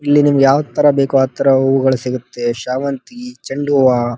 ಇಲ್ಲಿ ನಿಮಗೆ ಯಾವ ತರ ಬೇಕೋ ಆ ತರ ಹೂಗಳು ಸಿಗುತ್ತವೆ ಚೆಂಡು ಹೂವ --